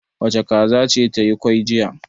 Wace kaza ce ta yi kwai jiya?